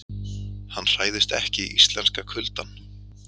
Hann hræðist ekki íslenska kuldann.